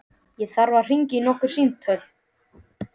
Ég þarf að hringja nokkur símtöl.